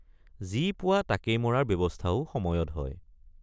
যি পোৱা তাকেই মৰাৰ ব্যৱস্থাও সময়ত হয়।